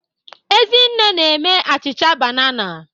Ezinne na-eme achịcha banana.